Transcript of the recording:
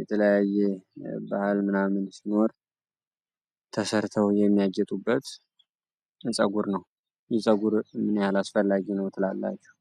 የተለያየ በዓል ምናምን ሲሆን ተሠርተው የሚያጌጡበት ፀጉር ነው ዊግ ለሰው ልጅ ምን ያክል አስፈላጊ ነው ትላላችሁ?